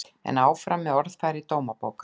En áfram með orðfæri Dómabókar